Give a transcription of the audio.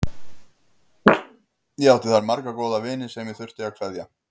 Ég átti þar marga góða vini sem ég þurfti að kveðja.